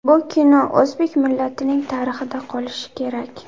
Bu bino o‘zbek millatining tarixida qolishi kerak.